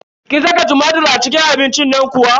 Kin saka tumatir a cikin abincin nan kuwa?